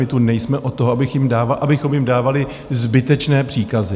My tu nejsme od toho, abychom jim dávali zbytečné příkazy.